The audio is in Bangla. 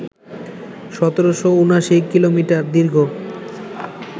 ১৭৭৯ কিলোমিটার দীর্ঘ